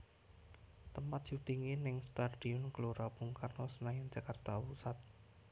Tempat syutingé ning Stadion Gelora Bung Karno Senayan Jakarta Pusat